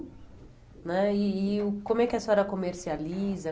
né e e o como é que a senhora comercializa?